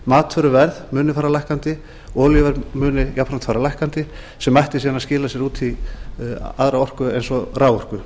matvöruverð muni fara lækkandi olíuverð muni jafnframt fara lækkandi sem ætti síðan að skila sér út í aðra orku eins og raforku